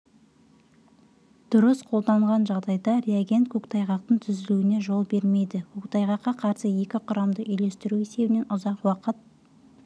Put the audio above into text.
дұрыс қолданған жағдайда реагент көктайғақтың түзілуіне жол бермейді көктайғаққа қарсы екі құрамдасты үйлестіру есебінен ұзақ уақыт